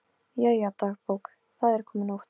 Jæja, dagbók, það er komin nótt.